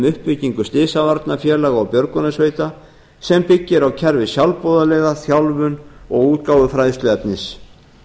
uppbyggingu slysavarnafélaga og björgunarsveita sem byggir á kerfi sjálfboðaliða þjálfun og útgáfu fræðsluefnis